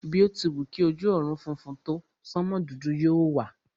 Bí o ti wù kí ojú ọ̀run funfun tó, sánmò dúdú yóò wà.